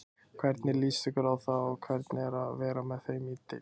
Hvernig líst ykkur á það og hvernig er að vera með þeim í deild?